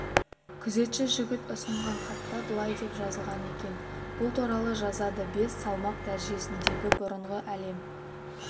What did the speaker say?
күзетші жігіт ұсынған хатта былай деп жазылған екен бұл туралы жазады бес салмақ дәрежесіндегі бұрынғы әлем